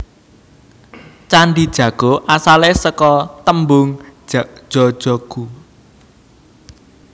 Candhi Jago asale seka tembung Jajaghu